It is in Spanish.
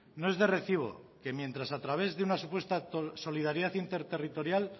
no es de recibo que mientras a través de una supuesta solidaridad interterritorial